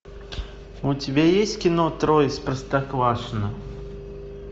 у тебя есть кино трое из простоквашино